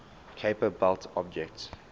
kuiper belt objects